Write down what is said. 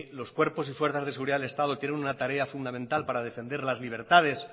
los cuerpos y fuerzas de seguridad del estado tienen una tarea fundamental para defender las libertades